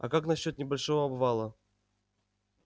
а как насчёт небольшого обвала